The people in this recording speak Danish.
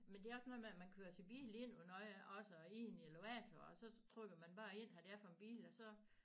Men det er også noget med at man kører sin bil ind og nåh ja også og ind i æ elevator og så trykker man bare ind hvad det er for en bil og så